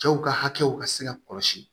Cɛw ka hakɛw ka se ka kɔlɔsi